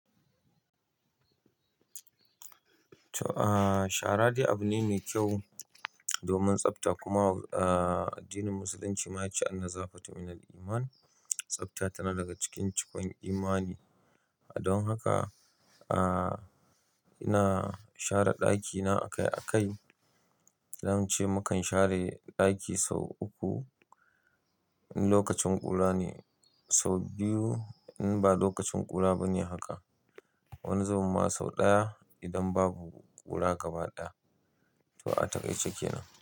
To shara dai abu ne mai kyau domin tsafta kuma addinin musulunci ma ya ce "An-nazafatun mina l-iman", tsafta tana daga cikin cikon imani. Don haka ina share ɗakina akai akai. Dan zan ce mu kan share ɗaki sau uku in lokacin ƙura ne, sau biyu in ba lokacin ƙura ba ne haka. Wani zubin ma sau ɗaya idan babu ƙura gaba ɗaya. To a takaice ke nan.